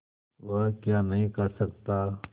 वह क्या नहीं कर सकता